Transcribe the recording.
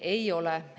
Ei ole.